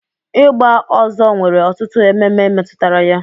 Ịgba ọzọ nwere ọtụtụ ememe metụtara ya.